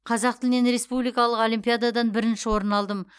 қазақ тілінен республикалық олимпиададан бірінші орын алдым